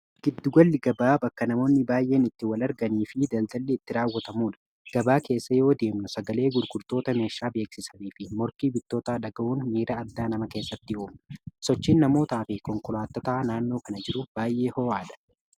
giddugalli-gabaa bakka namoonni baay'een itti wal arganii fi daldalli itti raawwatamuudha gabaa keessa yoo deemnu sagalee gurkurtoota meeshaa beeksisanii fi morkii bittoota dhaga'uun miira addaa nama keessatti uumna sochiin namootaa fi konkolaatataa naannoo kana jiru baay'ee hoo'aa dha